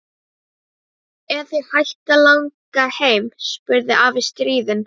Er þig hætt að langa heim? spurði afi stríðinn.